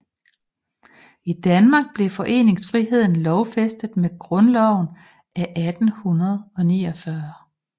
I Danmark blev foreningsfriheden lovfæstet med Grundloven af 1849